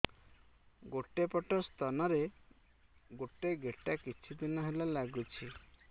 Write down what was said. ଗୋଟେ ପଟ ସ୍ତନ ରେ ଗୋଟେ ଗେଟା କିଛି ଦିନ ହେଲା ଲାଗୁଛି